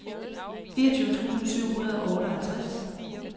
fireogtyve tusind syv hundrede og otteoghalvtreds